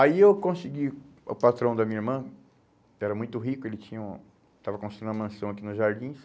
Aí eu consegui o patrão da minha irmã, que era muito rico, ele tinha um, estava construindo uma mansão aqui nos jardins.